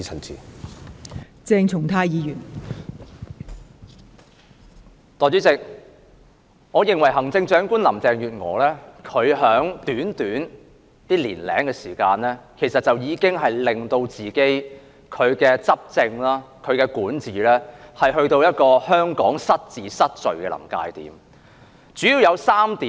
代理主席，我認為行政長官林鄭月娥在短短一年多時間內，已經令其執政及管治，去到一個使香港失治、失序的臨界點。